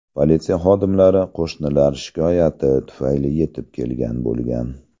Politsiya xodimlari qo‘shnilar shikoyati tufayli yetib kelgan bo‘lgan.